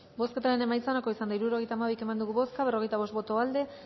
bozketaren emaitza onako izan da hirurogeita hamabi eman dugu bozka berrogeita bost boto aldekoa